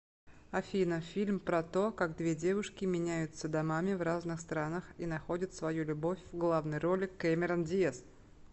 афина фильм про то как две девушки меняются домами в разных странах и находят свою любовь в главной роли кэмерон диас